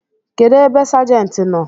Kedụ ebe sajenti nọ?